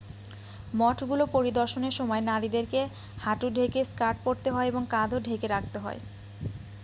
মঠগুলো পরিদর্শনের সময় নারীদেরকে হাঁটু ঢেকে স্কার্ট পড়তে হয় এবং কাঁধও ঢেকে রাখতে হয়